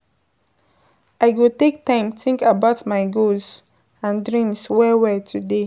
I go take time think about my goals and dreams well well today.